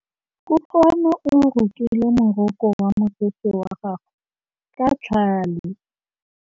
Kutlwanô o rokile morokô wa mosese wa gagwe ka tlhale.